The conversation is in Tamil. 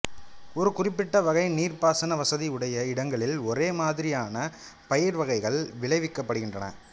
ஒரு குறிப்பிட்ட வகை நீர்ப்பாசன வசதி உடைய இடங்களில் ஒரே மாதிரியான பயிர்வகைகள் விளைவிக்கப்படுகின்றன